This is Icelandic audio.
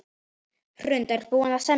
Hrund: Er búið að semja?